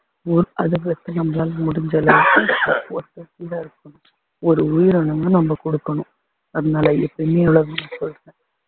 அதுங்களுக்கு நம்மளால முடிஞ்ச அளவுக்கு ஆ இருக்கணும் ஒரு உயிரை நம்ம நம்ம குடுக்கணும் அதனால எப்பயுமே சொல்றேன்